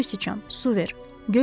Göy siçan, su ver.